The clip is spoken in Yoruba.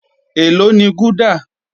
Èló ni gúdà?